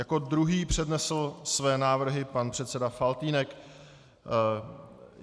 Jako druhý přednesl své návrhy pan předseda Faltýnek.